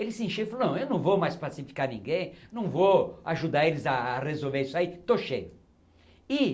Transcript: Ele se encheu e falou, não, eu não vou mais pacificar ninguém, não vou ajudar eles a a resolver isso aí, estou cheio. e